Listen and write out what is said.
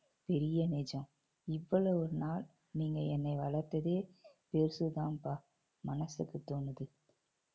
பெரிய நிஜம். இவ்வளவு நாள் நீங்க என்னை வளர்த்ததே பெருசு தான்பா மனசுக்கு தோணுது